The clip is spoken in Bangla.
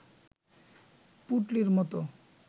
পুঁটলির মত